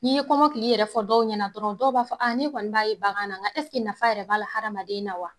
N'i ye komɔkili yɛrɛ fɔ dɔw ɲɛna dɔrɔn dɔw b'a fɔ ne kɔni b'a ye bagan na nga ɛseke nafa yɛrɛ b'a la hadamaden na wa?